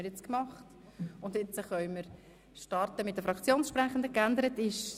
– Jetzt können wir mit den Fraktionssprechenden starten.